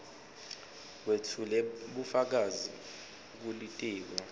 wetfule bufakazi kulitiko